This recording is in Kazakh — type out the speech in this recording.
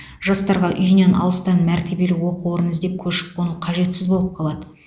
жастарға үйінен алыстан мәртебелі оқу орнын іздеп көшіп қону қажетсіз болып қалады